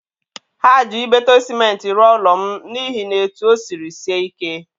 Ha ji Ibeto sịmentị rụọ ụlọ m n'ihi na etu o siri sie ike.